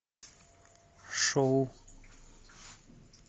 шоу